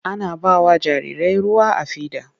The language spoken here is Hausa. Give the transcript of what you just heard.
Ana ba wa jarirai ruwa a fida.